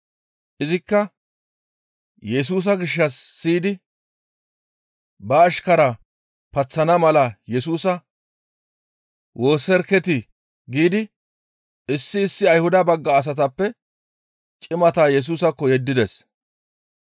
Izikka Yesusa gishshas siyidi, «Ba ashkaraa paththana mala Yesusa woosseriketii!» giidi issi issi Ayhuda bagga asatappe cimata Yesusaakko yeddides.